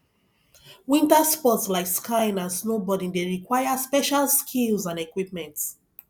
winter sports like skiing and snowboarding dey require special skills and equipment